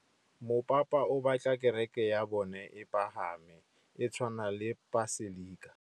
Mopapa o batla kereke ya bone e pagame, e tshwane le paselika.